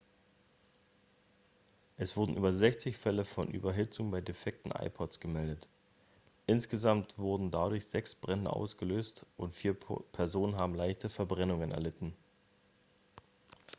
es wurden über 60 fälle von überhitzung bei defekten ipods gemeldet insgesamt wurden dadurch sechs brände ausgelöst und vier personen haben leichte verbrennungen erlitten